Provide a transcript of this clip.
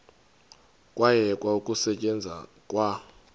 kwayekwa ukusetyenzwa kwa